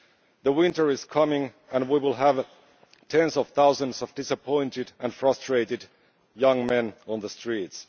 The winter is coming and we will have tens of thousands of disappointed and frustrated young men on the streets.